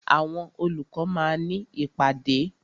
Àwọn olùkọ́ máa ní ìpàdé.